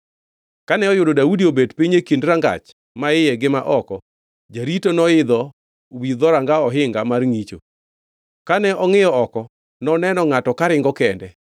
Kane oyudo Daudi obet e kind rangach maiye gi ma oko, jarito noidho wi dhoranga ohinga mar ngʼicho. Kane ongʼiyo oko, noneno ngʼato karingo kende.